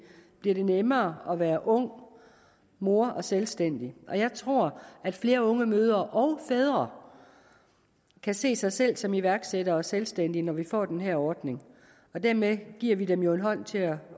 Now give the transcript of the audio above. bliver det nemmere at være ung mor og selvstændig jeg tror at flere unge mødre og fædre kan se sig selv som iværksætter og selvstændig når vi får den her ordning og dermed giver vi dem jo en hånd til at